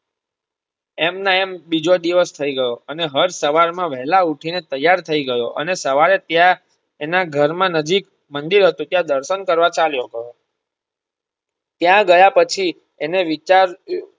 એમને એમ બીજો દિવસ થઇ ગયો અને હર્ષ સવાર માં વહેલા ઉઠી ને તૈયાર થઇ ગયોઅને સવારે ત્યાં એના ઘર નજીક મંદિર હતું ત્યાં દર્શન કરવા ચાલ્યો ગયો ત્યાં ગયા પછી એને વિચાર્યું.